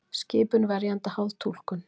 Skipun verjanda háð túlkun